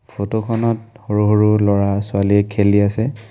Photo খনত সৰু সৰু লৰা ছোৱালীয়ে খেলি আছে।